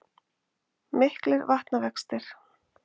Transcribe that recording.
Miklir vatnavextir